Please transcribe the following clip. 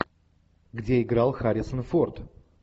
где играл харрисон форд